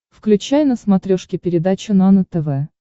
включай на смотрешке передачу нано тв